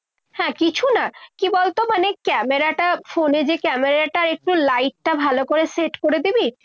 হ্যাঁ, কিছু না কি বলতো মানে camera টা ফোনে যে camera টা একটু light টা ভালো করে set করে দিবি।